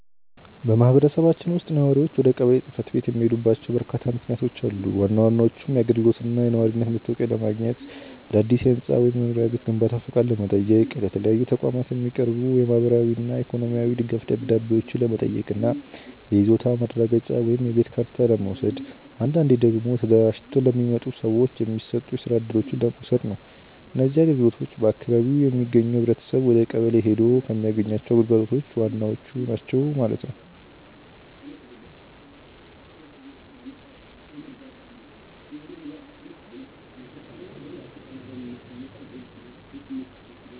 በማኅበረሰባችን ውስጥ ነዋሪዎች ወደ ቀበሌ ጽሕፈት ቤት የሚሄዱባቸው በርካታ ምክንያቶች አሉ። ዋና ዋናዎቹም የአገልግሎትና የነዋሪነት መታወቂያ ለማግኘት፣ አዳዲስ የሕንፃ ወይም የመኖሪያ ቤት ግንባታ ፈቃድ ለመጠየቅ፣ ለተለያዩ ተቋማት የሚቀርቡ የማኅበራዊና የኢኮኖሚ ድጋፍ ደብዳቤዎችን ለመጠየቅ እና የይዞታ ማረጋገጫ ወይም የቤት ካርታ ለመውሰድ፣ አንዳንዴ ደግሞ ተደራጅተው ለሚመጡ ሰዎች የሚሰጡ የስራ እድሎችን ለመውሰድ ነው። እነዚህ አገልግሎቶች በአካባቢው የሚገኘው ኅብረተሰብ ወደቀበሌ ሔዶ ከሚያገኛቸው ግልጋሎቶች ዋናዎቹ ናቸው ማለት ነው።